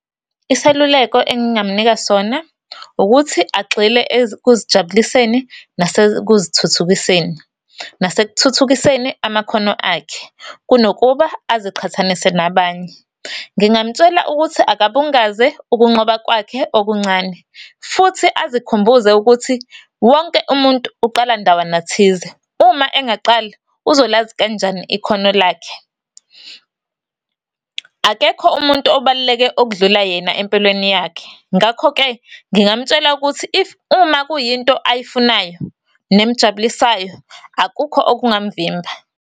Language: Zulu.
Iseluleko engingamunika sona ukuthi, agxile ekuzijabuliseni, nase kuzithuthukiseni, nasekuthuthukiseni amakhono akhe, kunokuba aziqhathanise nabanye. Ngingamtshela ukuthi akabungaze ukunqoba kwakhe okuncane, futhi azikhumbuze ukuthi, wonke umuntu uqala ndawana thize. Uma engaqali, uzolazi kanjani ikhono lakhe? Akekho umuntu obaluleke okudlula yena empilweni yakhe. Ngakho-ke, ngingamtshela ukuthi, if, uma kuyinto ayifunayo, nemjabulisayo, akukho okungamuvimba.